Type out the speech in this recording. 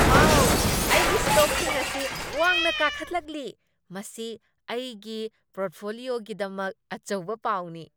ꯋꯥꯎ, ꯑꯩꯒꯤ ꯁ꯭ꯇꯣꯛꯁꯤꯡ ꯑꯁꯤ ꯋꯥꯡꯅ ꯀꯥꯈꯠꯂꯛꯂꯤ! ꯃꯁꯤ ꯑꯩꯒꯤ ꯄꯣꯔꯠꯐꯣꯂꯤꯑꯣꯒꯤꯗꯃꯛ ꯑꯆꯧꯕ ꯄꯥꯎꯅꯤ꯫